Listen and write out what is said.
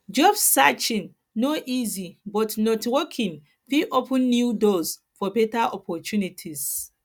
job searching no easy but networking fit open new doors for beta opportunities